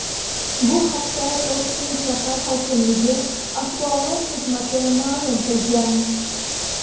Bu haqda Toshkent shahar hokimligi axborot xizmati ma’lum qilgan .